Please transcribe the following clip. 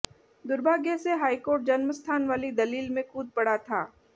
दुर्भाग्य से high court जन्मस्थान वाली दलील में कूद पड़ा था